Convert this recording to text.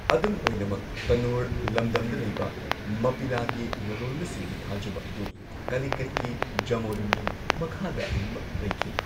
ꯑꯗꯨꯝ ꯑꯣꯏꯅꯃꯛ ꯇꯅꯨꯔ ꯂꯝꯗꯝꯗ ꯂꯩꯕ ꯃꯞꯄꯤꯂꯥꯒꯤ ꯂꯂꯣꯟꯕꯁꯤꯡꯒꯤ ꯊꯥꯖꯕ ꯑꯗꯨ ꯀꯂꯤꯀꯠꯀꯤ ꯖꯥꯃꯣꯔꯤꯟꯒꯤ ꯃꯈꯥꯗ ꯑꯗꯨꯃꯛ ꯂꯩꯈꯤ꯫